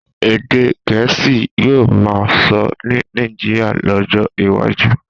Èdè Gẹ̀ẹ́sì yóò máa sọ ní Nàìjíríà lọ́jọ́ iwájú.